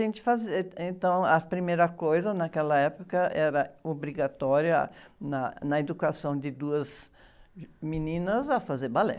fazer... Êh, então, a primeira coisa naquela época era obrigatória, na, na educação de duas... Meninas, a fazer balé.